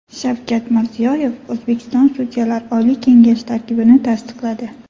Shavkat Mirziyoyev O‘zbekiston Sudyalar oliy kengashi tarkibini tasdiqladi.